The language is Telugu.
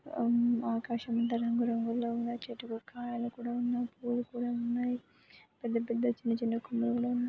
ఉమ్ ఆకాశం అంతా రంగురంగుల్లో ఉంగ చెట్టుకు కాయలు కూడా ఉన్న పూలు పూలున్నాయ్ పెద్ద పెద్ద చిన్న చిన్న కొమ్మలు కూడా ఉన్నాయ్.